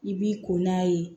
I b'i ko n'a ye